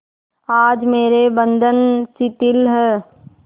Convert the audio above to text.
आज मेरे बंधन शिथिल हैं